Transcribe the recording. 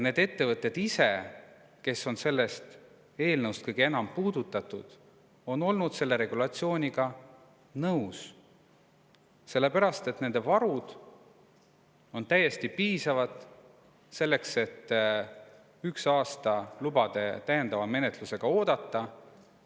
Need ettevõtted, keda see eelnõu kõige enam puudutab, on selle regulatsiooniga nõus, sellepärast et nende varud on täiesti piisavad, et üks aasta lubade täiendava menetlusega oodata.